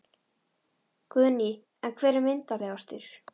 Guðný: En hver er myndarlegastur?